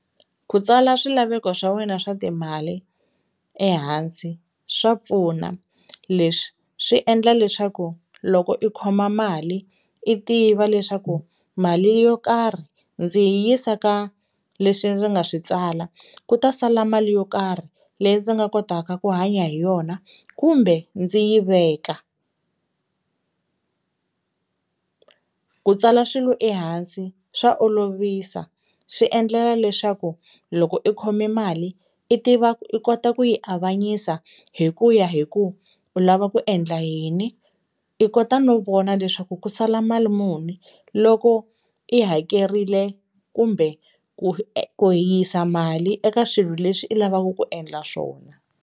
Ku tsala swilaveko swa wena swa timali ehansi swa pfuna leswi swi endla leswaku loko i khoma mali i tiva leswaku mali yo karhi ndzi yisa ka leswi ndzi nga swi tsala ku ta sala mali yo karhi leyi ndzi nga kotaka ku hanya hi yona kumbe ndzi yi veka. Ku tsala swilo ehansi swa olovisa swi endlela leswaku loko i khome mali i tiva ku i kota ku yi avanyisa hi ku ya hi ku u lava ku endla yini i kota no vona leswaku ku sala mali muni loko i hakerile kumbe ku yisa mali eka swilo leswi i lavaka ku endla swona.